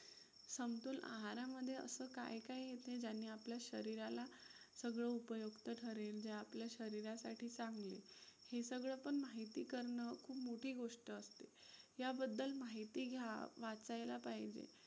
आहारामध्ये असं काय काय येतंय ज्याने आपल्या शरीराला सगळं उपयुक्त ठरेल जे आपल्या शरीरासाठी चांगलं हे. हे सगळं पण माहिती करणं खूप मोठी गोष्ट असते.